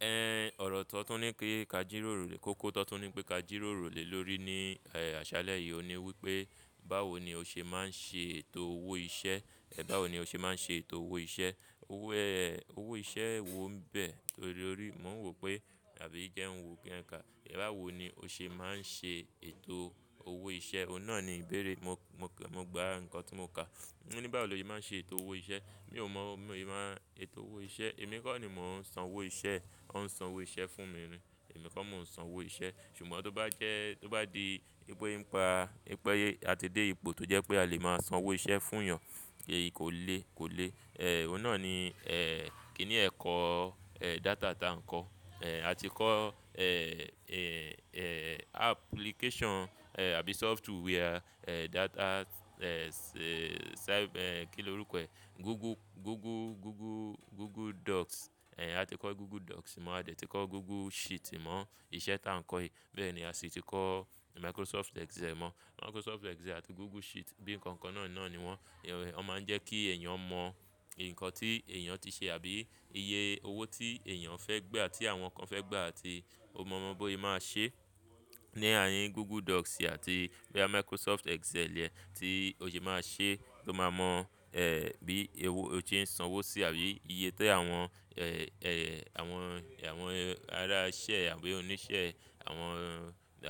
Ẹn ọ̀rọ̀ tó tún ní kí ka jíròrò lé, kókó tó tún ní pé ka jíròrò lé lórí ní eh àṣálẹ́ yìí, òun ní wípé báwo ni ó ṣe máa ń ṣe ètò owó iṣẹ́? Ẹ̀ báwo ni ó ṣe máa ń ṣe ètò owó iṣẹ́? Owó eh owó iṣẹ́ wo ń bẹ̀ torí ó rí, mò ń wò pé tàbí íjẹun wo kí a ka. Ẹ báwo ni ó ṣe máa ń ṣe ètò owó iṣẹ́? Òun náà ni ìbéèrè. Mo, mo, mo gba nǹkan tí mo kà. Ó ní báwo lo ṣe máa ń ṣe ètò owó iṣẹ́? Mi ò mọ̀, mi won se maa n ṣètò owó iṣẹ́. Èmi kọ́ ni mò ń san owó iṣẹ́. Wọ́n ń san owó iṣẹ́ fún mi ni. Èmi kọ́ mò ń san owó iṣẹ́. Ṣùgbọ́n tó bá jẹ́, tó bá di wípé nípa, wípé a ti dé ipò tó jẹ́ pé a lè máa san owó iṣẹ́ fún èèyàn, èyí kò le, kò le. Eh òun náà ni eh kíni ẹ̀kọ́ eh data táa ń kọ́. Eh a ti kọ́ eh, eh, eh application eh àbí software eh data eh se- eh kí ló rúko e? Google, Google, Google, Google Docs. Eh a ti kọ́ Google Docs mọ́, a ti kọ́ Google Sheet mọ́, iṣẹ́ táa ń kọ́ yìí. Bẹ́ẹ̀ ni a sì ti kọ́ Microsoft Excel mọ́. Microsoft Excel àti Google Sheet bí nǹkan kan náà náà ní wọ́n. Ẹ̀wà, wọ́n máa ń jẹ́ kí èèyàn mọ nǹkan tí èèyàn ti se tàbí iye owó tí èèyàn fẹ́ gbà, tí àwọn kan fẹ́ gbà àti ó ko mọ ọ́ bi ose máa ṣe ní àárín Google Docs àti boya Microsoft Excel e tí ó ṣe máa ṣe tó máa mọ eh bí owó ó ṣe ń san owó sí tàbí iye tó àwọn eh, eh àwọn, àwọn ará iṣẹ́ àbí oníṣẹ́, àwọn,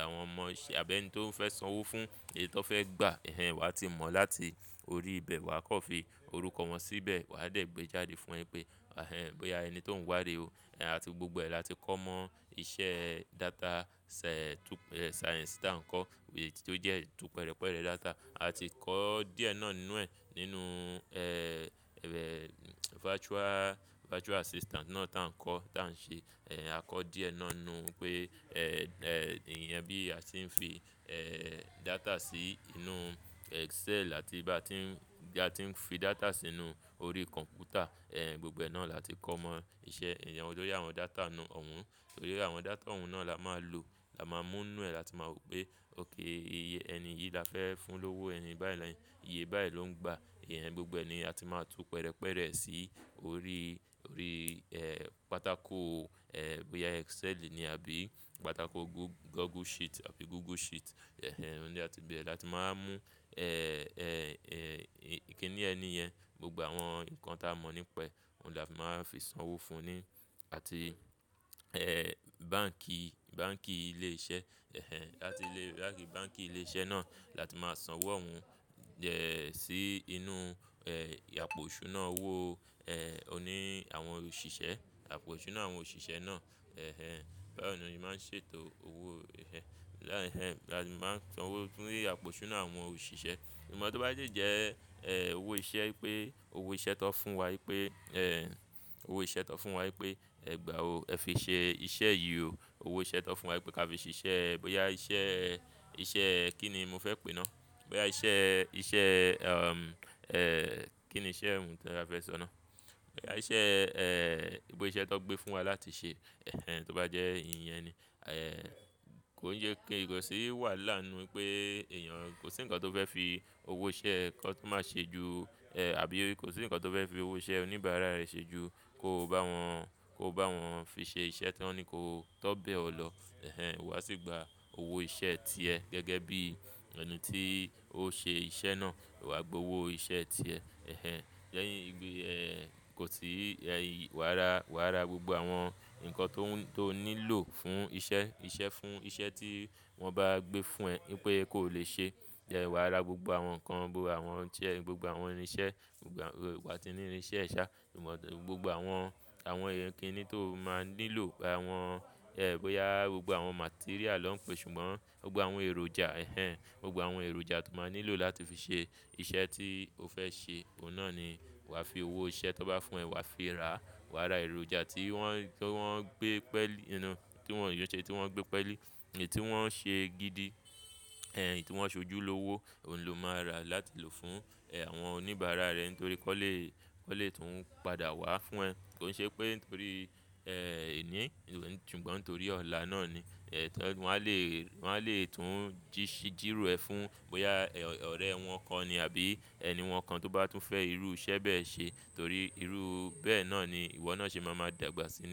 àwọn ọmọ àbí ẹni tó ń fẹ́ san owó fún èyí tó fẹ́ gbà. Ẹ̀hẹn wàá ti mọ̀ láti orí ibẹ̀, wà á kan fi orúkọ wọn síbẹ̀, wà á dé gbé jáde fún ẹ pé ẹ̀hẹn bóyá ẹni tó ń wádìí ò. Ẹ̀hẹn àti gbogbo ẹ̀ là ti kọ́ mọ́ iṣẹ́ data se- to- science táa ń kọ́ èyí tí ó jẹ́ tukọ̀ pẹ̀rẹ̀ pẹ̀rẹ̀ data. A ti kọ́ díẹ̀ náà nínú ẹ̀, nínú eh, eh virtual, virtual assistant náà táa ń kọ́, táa ń ṣe. Eh a kọ́ díẹ̀ náà nínú pé eh, eh ìyẹn bí a ti ń fi eh data sí inú Excel àti bá a ti ń, bá a ti ń fi data sínú orí kọ̀m̀pútà. Ẹ̀hẹn gbogbo náà là ti kọ́ mọ́ iṣẹ́. Ìyẹn olórí àwọn data nínú òun. Torí àwọn data òun náà la máa lò, la máa mú nínú ẹ̀, la tí máa mọ̀ pé okay iye ẹni yìí la fẹ́ fún lówó, ẹni báyìí la ń, iye báyìí ló ń gba. Iyẹn gbogbo ni a ti máa tu pẹ̀rẹ̀ pẹ̀rẹ̀ sí orí, orí eh pátákò eh bóyá Excel ni àbí pátákò Go- Google Sheet àbí Google Sheet. Ẹ̀hẹn òun ni a ti bẹ̀ẹ̀ là ti máa mú eh, eh, eh kíni ẹni yẹn gbogbo àwọn nǹkan táa mọ̀ nípa e, òun la máa fi san owó fún ni àti eh báǹkì, báǹkì ilé iṣẹ́. Ẹ̀hẹn láti lé, láti báǹkì ilé iṣẹ́ náà là ti máa san owó òun iyen sí inú eh àpò isùná owó eh oní àwọn òṣìṣẹ́, àpò iṣùná àwọn òṣìṣẹ́ náà. Ẹ̀hẹn bayi ni mo se máa ń ṣètò owó. Ẹ̀hẹn láà ẹ̀hẹn là ti máa san owó fún rìrìn àpò isunà àwọn òṣìṣẹ́. Ṣùgbọ́n tó bá si jẹ́ eh owó iṣẹ́ pé owó iṣẹ́ tó fún wa wípé eh owó iṣẹ́ tó fún wa wípé ẹ̀ gbà o, ẹ fi ṣe iṣẹ́ yìí o. Owó iṣẹ́ tó fún wa wípé ká fi ṣe iṣẹ́ bóyá iṣẹ́, iṣẹ́ kí ni mo fẹ́ pè é náà? Bóyá iṣẹ́, iṣẹ́ umm eh kí ni iṣẹ́ òun tí a fẹ́ sọ náà? Bóyá iṣẹ́ eh wípé iṣẹ́ tó gbé fún wa láti ṣe. Ẹ̀hẹn tó bá jẹ́ ìyẹn ni. Eh kò ń ye kí iwosi wà láàrin wípé èèyàn kò sí nǹkan tó fẹ́ fi owó iṣẹ́ kọ́ tó máa ṣe ju eh àbí kò sí nǹkan tó fẹ́ fi owó iṣẹ́ oníbàárà rẹ̀ ṣe ju kó bá wọn, kó bá wọn fi ṣe iṣẹ́ tí wọ́n ní kó tó bẹ̀ ọ́ lọ. Ẹ̀hẹn wà á sì gba owó iṣẹ́ ti ẹ gẹ́gẹ́ bí ẹni tí ó ṣe iṣẹ́ náà. Wà á gba owó iṣẹ́ ti ẹ. Ẹ̀hẹn lehin iṣẹ́ gbé eh kò sì eh wà á ra, wà á ra gbogbo àwọn nǹkan tó ń, tó nílò fún iṣẹ́, iṣẹ́ fún iṣẹ́ tí wọ́n bá gbé fún ẹ wípé kó le ṣe. Ẹ̀hẹn wà á ra gbogbo àwọn nǹkan, gbogbo àwọn tí ẹ, gbogbo àwọn irinṣẹ́, gbogbo wà á ti ní irinṣẹ́ sà. Mọ̀ pe gbogbo àwọn, àwọn ìyẹn kíni tó máa nílò, gbogbo àwọn eh bóyá gbogbo àwọn material ló ń pe ṣùgbọ́n gbogbo àwọn èròjà. Ẹ̀hẹn gbogbo àwọn èròjà tó máa nílò láti fi ṣe iṣẹ́ tí o fẹ́ ṣe, òun náà ni wà á fi owó iṣẹ́ tó bá fún ẹ, wà á fi ra. Wà á ra èròjà tí wọ́n, tí wọ́n gbé pẹ́lí iyen náà, tí wọ́n de se, tí wọ́n gbé pẹ́lí, èyí tí wọ́n ṣe gidi. Ẹ̀hẹn èyí tí wọ́n sojú lówó òun lo máa rà láti lò fún eh àwọn oníbàárà rẹ nítorí kó le, kó le tún padà wá fún ẹ. Kò ń ṣe pé nítorí eh ení, ṣùgbọ́n torí ọ̀la náà ni. Ẹ̀hẹn wọ́n á le, wọ́n á le tún jíṣí, jìrò ẹ fún bóyá ọ̀rẹ́ wọn kan ni àbí ẹni wọn kan tó bá tún fẹ́ irú iṣẹ́ bẹ́ẹ̀ ṣe torí irú bẹ́ẹ̀ náà ni ìwọ náà ṣe ma máa dàgbà sí.